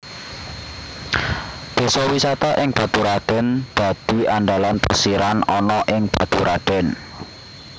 Désa wisata ing Baturadèn dadi andalan plesiran ana ing Baturadèn